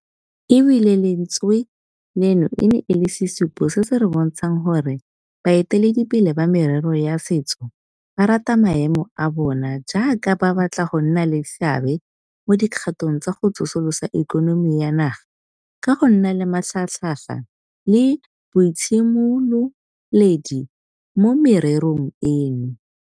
E bile gape lentswe leno e ne e le sesupo se se re bontshang gore bae teledipele ba merero ya setso ba rata maemo a bona jaaka ba batla go nna le seabe mo dikgatong tsa go tsosolosa ikonomi ya naga ka go nna le matlhagatlhaga le boitshimololedi mo mererong eno.